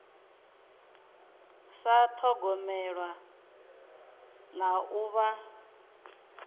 sa thogomelwa na u vha